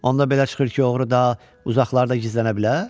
Onda belə çıxır ki, oğru da uzaqlarda gizlənə bilər?